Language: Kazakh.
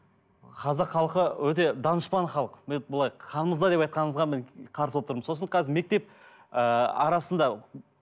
қазақ халқы өте данышпен халық мен былай қанымызда деп айтқаныңызға мен қарсы болып тұрмын сосын қазір мектеп ыыы арасында